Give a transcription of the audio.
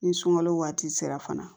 Ni sunkalo waati sera fana